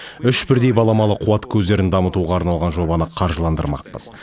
үш бірдей баламалы қуат көздерін дамытуға арналған жобаны қаржыландырмақпыз